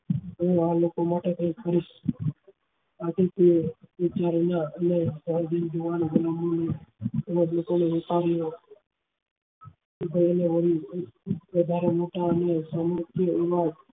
એ આ લોકો માટે કઈ વધારે મોટા